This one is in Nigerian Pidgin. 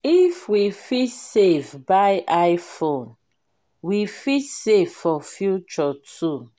if we fit save buy iphone we fit save for future too.